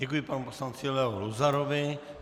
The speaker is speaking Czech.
Děkuji panu poslanci Leo Luzarovi.